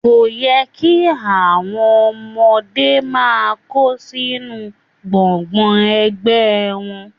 Kò yẹ kí àwọn ọmọdé máa kó sínú gbọ́ngbọ̀n ẹgbẹ wọn.